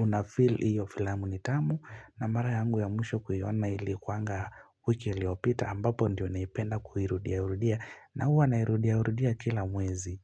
unafeel hiyo filamu ni tamu na mara yangu ya mwisho kuiona ilikuanga wiki iliopita ambapo ndiyo naipenda kuirudia rudia na huwa nairudia rudia kila mwezi.